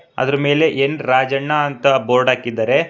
ಅದರ ಮೇಲೆ ಎನ್_ ರಾಜಣ್ಣ ಅಂತ ಬೋರ್ಡ್ ಹಾಕಿದ್ದಾರೆ.